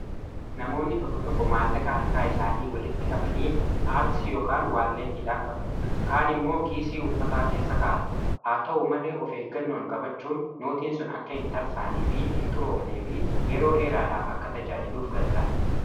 Namoonni tokko tokko maallaqa harkaa isaanii walitti qabanii paarsii ykn waalleetiidhaan qabatu. Kaan immoo kiisii uffataa keessa ka'atu. Haa ta'uu malee of eeggannoon qabachuun nootiin sun akka hin tarsaanee fi hin xuroofne fi yeroo dheeraadhaaf akka tajaajiluuf gargaara.